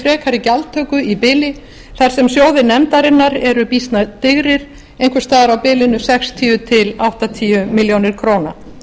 frekari gjaldtöku í bili þar sem sjóðir nefndarinnar eru býsna digrir einhvers staðar á bilinu sextíu til áttatíu milljónir króna